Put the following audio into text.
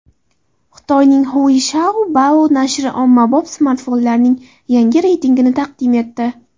Xitoyning Huishoubao nashri ommabop smartfonlarning yangi reytingini taqdim etdi .